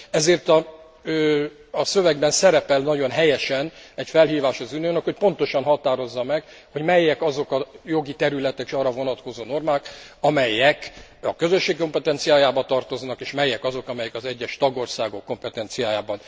Ezért a szövegben szerepel nagyon helyesen egy felhívás az Uniónak, hogy pontosan határozza meg, hogy melyek azok a jogi területek és arra vonatkozó normák, amelyek a Közösség kompetenciájába tartoznak, és melyek azok, amelyek az egyes tagországok kompetenciájába.